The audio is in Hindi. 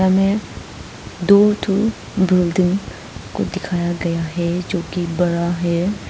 हमें दो ठो बिल्डिंग को दिखाया गया है जोकि बड़ा है।